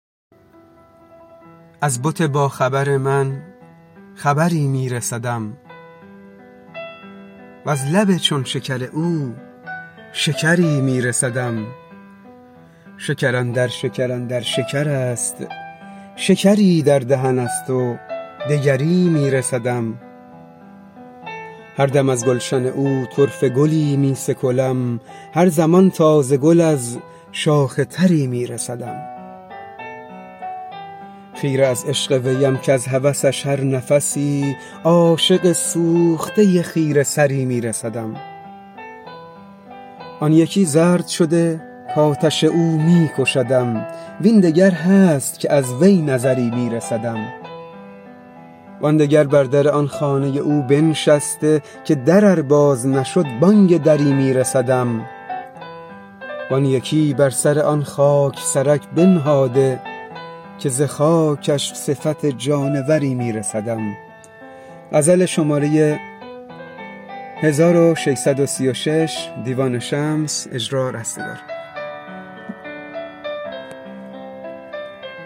از بت باخبر من خبری می رسدم وز لب چون شکر او شکری می رسدم شکر اندر شکر اندر شکر است شکری در دهن است و دگری می رسدم هر دم از گلشن او طرفه گلی می سکلم هر زمان تازه گل از شاخ تری می رسدم خیره از عشق ویم کز هوسش هر نفسی عاشق سوخته خیره سری می رسدم آن یکی زرد شده کآتش او می کشدم وین دگر هست که از وی نظری می رسدم وان دگر بر در آن خانه او بنشسته که در ار باز نشد بانگ دری می رسدم وان یکی بر سر آن خاک سرک بنهاده که ز خاکش صفت جانوری می رسدم